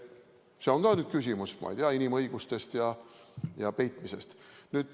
See on ka küsimus, ma ei tea, inimõigustest ja peitmisest.